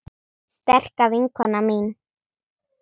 Sterka vinkona mín.